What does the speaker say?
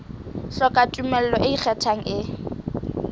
hloka tumello e ikgethang e